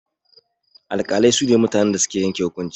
Alƙalai su ne mutanen da suke yanke hukunci.